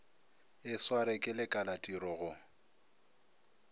e swarwe ke lekalatiro go